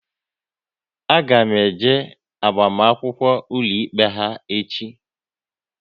A ga m eje agbamakwụkwọ ụlọikpe ha echi